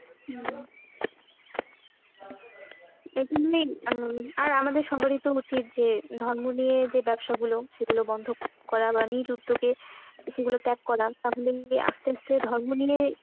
উম আর আমাদের সবারই তো উচিত যে ধর্ম নিয়ে যে ব্যবসা গুলো সেগুলো বন্ধ করা বা নিজ উদ্যোগে সেগুলো ত্যাগ করা, নিয়ে আস্তে আস্তে ধর্ম নিয়ে